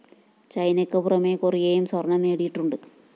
ചൈനയ്ക്ക് പുറമെ കൊറിയയും സ്വര്‍ണം നേടിയിട്ടുണ്ട്